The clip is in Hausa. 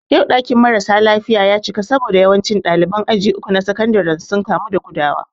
Yau ɗakin mara sa lafiya ya cika saboda yawancin ɗaliban aji uku na sakandare sun kamu da gudawa